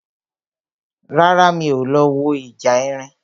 Rárá, mi ò lọ wo ìjà erin